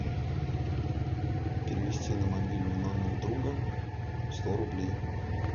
перевести на мобильный номер друга сто рублей